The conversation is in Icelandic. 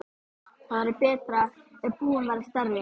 Það væri betra ef íbúðin væri stærri.